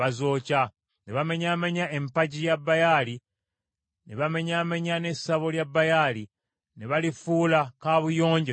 Ne bamenyaamenya empagi ya Baali, ne bamenyaamenya ne ssabo lya Baali, ne balifuula kabuyonjo ne leero.